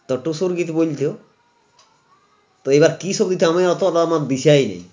তো টুসুর গীত বলতেও তা এবার কী সুবিধা হবে অতটা আমার দিশাও নাই